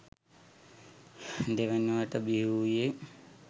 දෙවැනිවට බිහිවූයේ